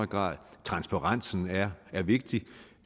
grad transparensen er vigtig